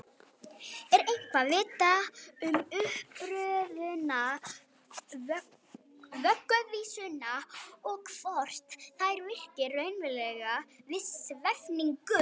Er eitthvað vitað um uppruna vögguvísna og hvort þær virki raunverulega við svæfingu?